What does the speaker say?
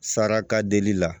Saraka delili la